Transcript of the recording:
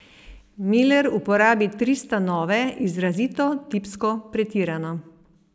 Miler upodobi tri stanove izrazito, tipsko, pretirano.